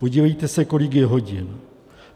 Podívejte se, kolik je hodin.